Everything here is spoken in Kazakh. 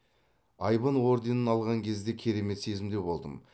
айбын орденін алған кезде керемет сезімде болдым